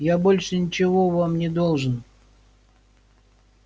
я больше ничего вам не должен